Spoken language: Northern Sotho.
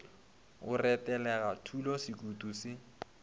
go retelega thula sekutu se